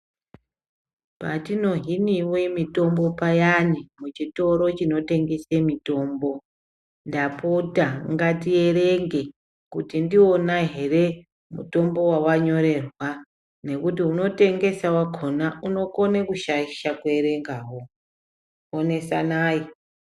Patinohiniwe mitombo payani muchitoro chinotengese mitombo, ndapota ngatierenge kuti ndiwona here mutombo wawanyorerwa nokuti unotengesa wakona unokone kushayisha kuerengawo, onesanayi.